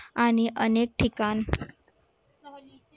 आणि अनेक ठिकाण